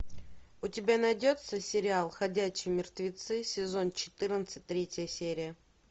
у тебя найдется сериал ходячие мертвецы сезон четырнадцать третья серия